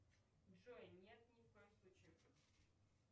джой нет ни в коем случае